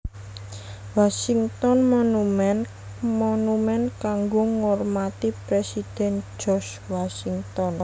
Washington Monument monumen kanggo ngurmati Presiden George Washington